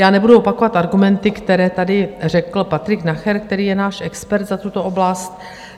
Já nebudu opakovat argumenty, které tady řekl Patrik Nacher, který je náš expert na tuto oblast.